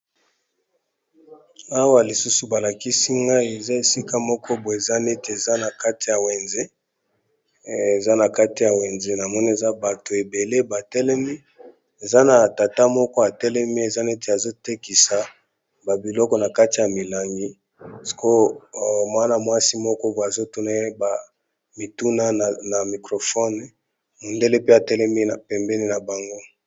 Awa lisusu balakisi ngai eza esika moko bo eza neti eza na kati ya wenze na mono eza bato ebele batelemi eza na tata moko atelemi eza neti azotekisa babiloko na kati ya milangi o mwana mwasi moko azotuna ye bamituna na microfone mondele pe atelemi pembeni na bango.